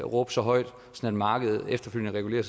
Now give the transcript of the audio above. råbe så højt at markedet efterfølgende regulerer